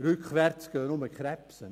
Rückwärts gehen nur die Krebse.